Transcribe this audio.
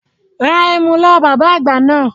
Ra ẹmu lọ́wọ́ bàbá àgbà náà